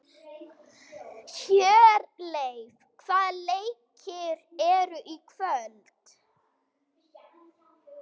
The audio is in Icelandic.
Hjörleif, hvaða leikir eru í kvöld?